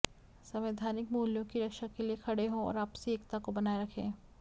संवैधानिक मूल्यों की रक्षा के लिए खड़े हों और आपसी एकता को बनाए रखें